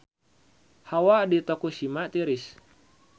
Hawa di Tokushima tiris